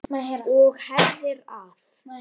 Og herðir að.